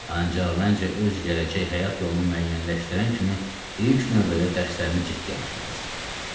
Ancaq məncə öz gələcək həyat yolunu müəyyənləşdirən kimi ilk növbədə dərslərinə ciddi yanaşmalısan.